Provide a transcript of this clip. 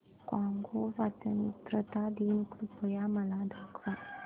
Congo स्वतंत्रता दिन कृपया मला दाखवा